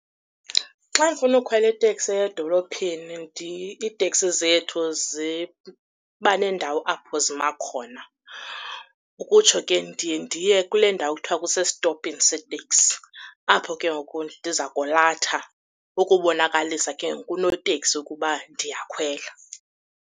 Xa ndifuna ukhwela iteksi eya edolophini iiteksi zethu ziba nendawo apho zima khona. Ukutsho ke ndiye ndiye kule ndawo kuthiwa kusestopini seeteksi, apho ke ngoku ndiza kolatha ukubonakalisa ke ngoku kunoteksi ukuba ndiyakhwela.